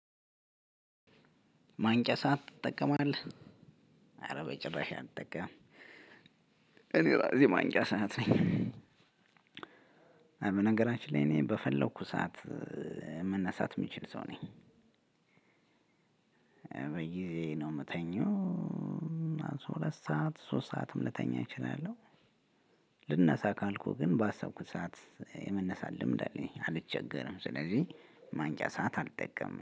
ማንቂያ ሰዓት ትጠቀማለህ አረ በጭራሽ አልጠቀምም። እኔ ራሴ ማንቂያ ሰዓት ነኝ። በነገራችን ላይ እኔ በፈለኩት ሰዓት መነሳት ሚችል ሰው ነኝ። በጊዜ ነው ምተኛው። ሁለት ሰዓት ሶስት ሰዓትም ልተኛ እችላለሁ። ልነሳ ካልኩህ ግን ባሰብኩት ሰዓት የመነሳት ልምድ አለኝ አልቸገርም። ስለዚህ ማንቂያ ሰዓት አልጠቀምም